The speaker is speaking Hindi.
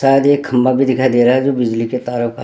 शायद एक खम्बा भी दिखाई दे रहा है जो बिजली के तारों का --